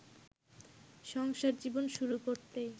সংসার জীবন শুরু করতেই